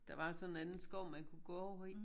Der var så en anden skov man kunne gå over i